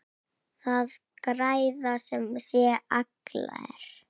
Það græða sem sé allir.